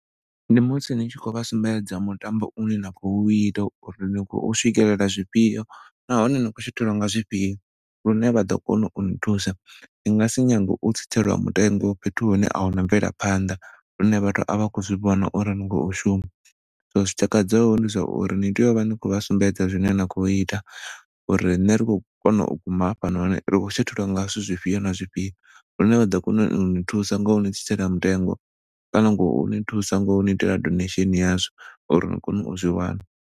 Ndi musi ni tshi khou vha sumbedza mutambo une na khou ita uri ni khou swikelela zwifhio nahone ni khou shothelwa nga zwifhio lune vhaḓo kona uni thusa ni ngasi nyange u tsitselwa mutengo fhethu hune ahuna mvelaphaḓa lune vhathu a vha khou zwi vhona uri ni khou shuma zwi takadzaho ndi zwauri ni tea u vha ni khou vha sumbedza zwine na khou ita uri ri ṋne ri khou kona u guma hafha noni ri khou shothelwa nga zwithu zwifhio na zwifhio hune vha ḓo kona uni thusa ngo ni tsitsela mutengo kana ngoni thusa ngo ni itela donation ya zwo uri ni kone u zwi wana.